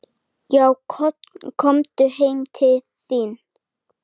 """Já, komum heim til þín."""